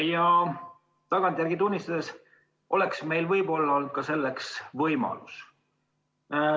Ja tagantjärgi tunnistades oleks meil võib-olla olnud selleks võimalus.